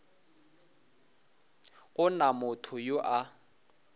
go na motho yo a